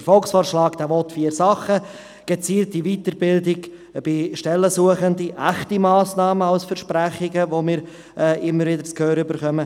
Der Volksvorschlag will vier Sachen: gezielte Weiterbildung von Stellensuchenden, echte Massnahmen statt Versprechungen, die wir immer wieder zu hören bekommen;